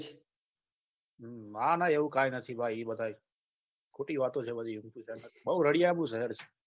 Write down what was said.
ના ના એવું કઈ નથી ભાઈ એ બધા ખોટી વાતો છે બધી બહુ રડીયાલું શહેર છે